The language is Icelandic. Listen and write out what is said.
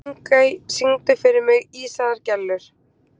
Þingey, syngdu fyrir mig „Ísaðar Gellur“.